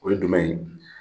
O ye dumɛn ye?